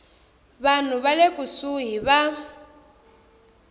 vanhu va le kusuhi va